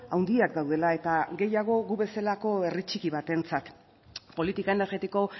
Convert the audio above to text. handiak daudela eta gehiago gu bezalako herri txiki batentzat politika energetiko